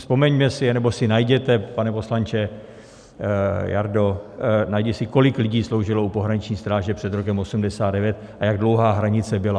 Vzpomeňme si, nebo si najděte, pane poslanče, Jardo, najdi si, kolik lidí sloužilo u pohraniční stráže před rokem 1989 a jak dlouhá hranice byla.